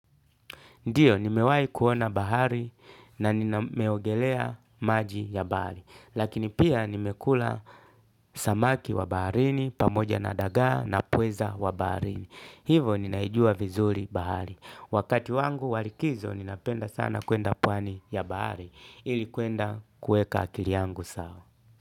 Ndiyo, nimewahi kuona bahari na nimeogelea maji ya bahari. Lakini pia nimekula samaki wa baharini, pamoja na dagaa na pweza wa baharini. Hivyo, ninaijua vizuri bahari. Wakati wangu wa likizo, ninapenda sana kwenda pwani ya bahari. Ili kwenda kuweka akili yangu sawa.